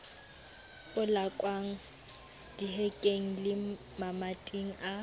polakwang dihekeng le mamating a